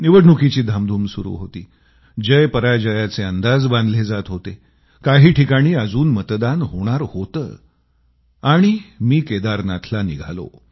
निवडणुकीची धामधूम सुरू होती जयपराजयाचे अंदाज बांधले जात होते काही ठिकाणी अजून मतदान होणार होतं आणि मी केदारनाथला निघालो